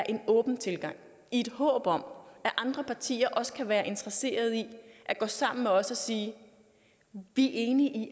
en åben tilgang i håb om at andre partier også kan være interesseret i at gå sammen med os og sige vi er enige i